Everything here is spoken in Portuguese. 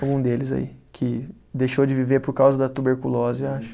Algum deles aí, que deixou de viver por causa da tuberculose, acho.